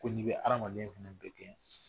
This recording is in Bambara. A ko'i be adamaden fɛnɛ bɛɛ gɛn